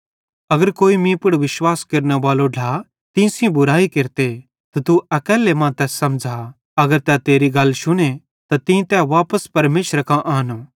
अगर कोई मीं पुड़ विश्वास केरनेबालो ढ्ला तीं सेइं बुरयाई केरते त तू अकैल्ले मां तैस समझ़ा अगर तै तेरी गल शुने त तीं तै वापस परमेशरे कां आनो